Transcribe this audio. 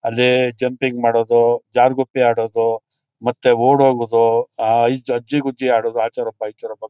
ಅಲ್ಲಿ ಜಂಪಿಂಗ್ ಮಾಡೋದು ಜಾರುಗುಪ್ಪೆ ಆಡೋದು ಮತ್ತೆ ಓಡೋಗೋದು ಆ ಜಜ್ಜಿಗುಜ್ಜಿ ಆಡೋದು ಅಚೆರೊಬ್ಬ ಈಚಿರೊಬ್ಬ.